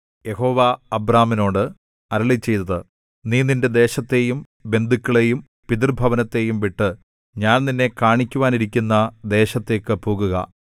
യഹോവ അബ്രാമിനോട് അരുളിച്ചെയ്തത് നീ നിന്റെ ദേശത്തെയും ബന്ധുക്കളെയും പിതൃഭവനത്തെയും വിട്ടു ഞാൻ നിന്നെ കാണിക്കുവാനിരിക്കുന്ന ദേശത്തേക്ക് പോകുക